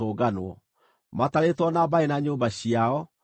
matarĩtwo na mbarĩ na nyũmba ciao, maarĩ andũ 2,630.